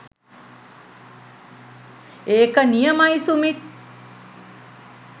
ඒක නියමයි සුමිත්